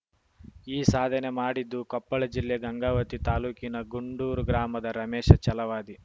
ಈ ಸಾಧನೆ ಮಾಡಿದ್ದು ಕೊಪ್ಪಳ ಜಿಲ್ಲೆ ಗಂಗಾವತಿ ತಾಲೂಕಿನ ಗೂಂಡೂರು ಗ್ರಾಮದ ರಮೇಶ ಚಲವಾದಿ